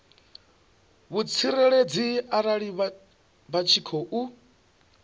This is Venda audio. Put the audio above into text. vhutsireledzi arali vha tshi khou